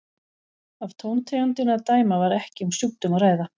Af tóntegundinni að dæma var ekki um sjúkdóm að ræða.